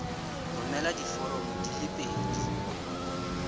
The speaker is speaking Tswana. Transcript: romela diforomo di le pedi